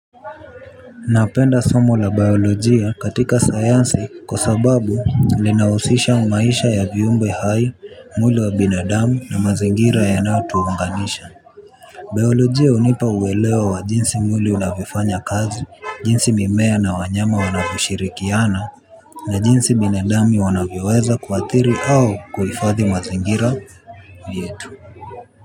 Napenda somo la biolojia katika sayansi kwa sababu linahusisha maisha ya viumbe hai mwili wa binadamu na mazingira yanaotuunganisha. Biolojia hunipa uelewa wa jinsi mwili unavyofanya kazi, jinsi mimea na wanyama wanavyoshirikiana na jinsi binadamu wanavyoweza kuathiri au kuhifadhi mazingira yetu.